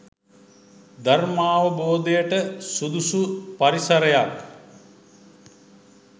ධර්මාවබෝධයට සුදුසු පරිසරයක්